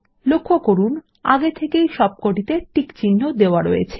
লক্ষ্য করুন আগে থেকেই সবকটিতে টিক চিহ্ন দেওয়া রয়েছে